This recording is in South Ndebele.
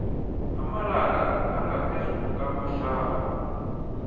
amalanga angaphezulu kamahlanu